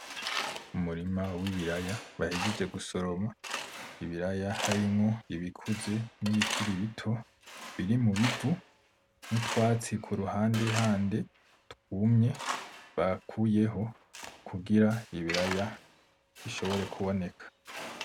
Umurima w'ibiraya bahejeje gusoroma, ibiraya harimwo ibikuze nibikiri bito , birimubivu n'utwatsi kuruhandehande twumye bakuyeho , kugira ibiraya bishobore kuboneka.